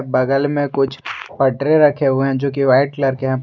बगल में कुछ पटरे रखे हुए हैं जो कि व्हाइट कलर के हैं।